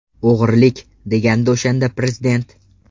O‘g‘rilik!”, degandi o‘shanda Prezident.